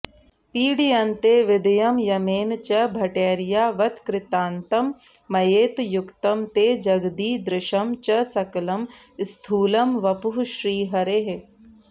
पीड्यन्ते विदयं यमेन च भटैर्यावत्कृतान्तं मयेत् युक्तं ते जगदीदृशं च सकलं स्थूलं वपुः श्रीहरेः